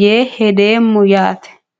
yee hedeemmo yaate